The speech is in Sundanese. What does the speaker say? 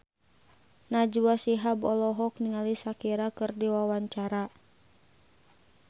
Najwa Shihab olohok ningali Shakira keur diwawancara